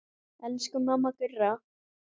Elsku mamma Gurra.